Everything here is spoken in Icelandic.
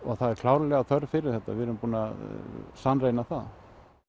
það er klárlega þörf fyrir þetta við erum búin að sannreyna það